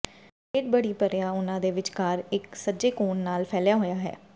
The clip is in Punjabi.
ਬਲੇਡ ਬੜੀ ਭਰਿਆ ਉਹਨਾਂ ਦੇ ਵਿਚਕਾਰ ਇੱਕ ਸੱਜੇ ਕੋਣ ਨਾਲ ਫੈਲਿਆ ਹੋਇਆ ਹੈ